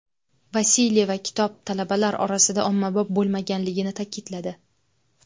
Vasilyeva kitob talabalar orasida ommabop bo‘lmaganligini ta’kidladi.